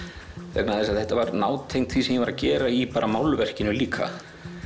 vegna þess að þetta var nátengt því sem ég var að gera í málverkinu líka